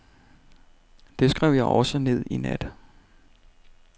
Det skrev jeg også ned i nat.